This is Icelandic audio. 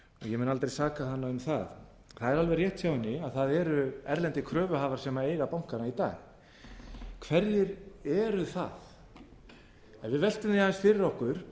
ég mun aldrei saka hana um það það er alveg rétt hjá henni að það eru erlendir kröfuhafar sem eiga bankana í dag hverjir eru það ef við veltum því aðeins fyrir okkur